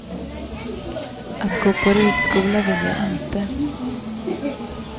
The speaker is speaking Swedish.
Att gå på ridskola vill jag inte.